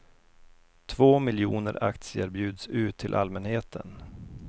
Två miljoner aktier bjuds ut till allmänheten.